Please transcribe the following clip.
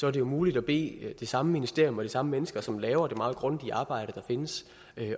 er det jo muligt at bede det samme ministerium og de samme mennesker som laver det meget grundige arbejde der findes